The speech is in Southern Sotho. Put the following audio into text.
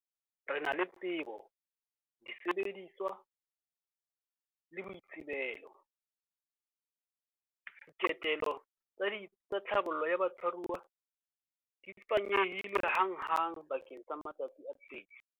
Re na le tsebo, disebediswa le boitsebelo. Diketelo tsa ditsi tsa tlhabollo ya batshwaruwa di fanyehilwe hanghang bakeng sa matsatsi a 30.